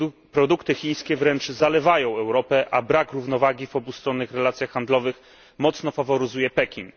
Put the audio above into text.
Produkty chińskie wręcz zalewają Europę, a brak równowagi w obustronnych relacjach handlowych mocno faworyzuje Pekin.